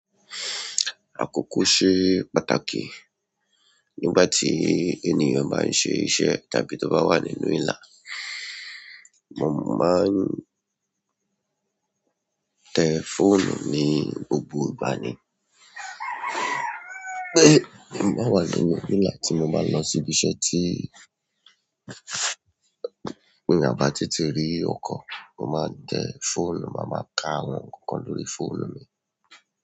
Àkókò ṣe pàtàkì. Nígbà tí ènìyàn bá ń ṣe iṣẹ́ tàbí tó bá wà nínú ìlà, mo máa ń tẹ fóònù ní gbogbo ìgbà ni. Mo máa wà nínú ìlà tí mo bá lọ sí ibi iṣẹ́ tí ti a bá tètè rí ọkọ̀, mo máa n tẹ fóònù, màá máa ka àwọn nǹkankan lórí fóònù mi.